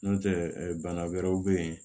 N'o tɛ bana wɛrɛw bɛ ye